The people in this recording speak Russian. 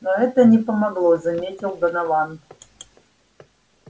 но это не помогло заметил донован